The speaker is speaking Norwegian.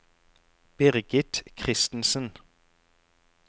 Birgit Christensen